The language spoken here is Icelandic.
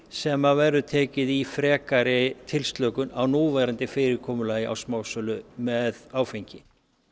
sem verður tekið í frekari tilslökun á núverandi fyrirkomulagi á smásölu með áfengi